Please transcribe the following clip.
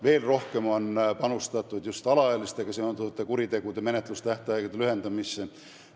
Veel rohkem on panustatud just alaealistega seonduvate kuritegude menetlustähtaegade lühendamisse.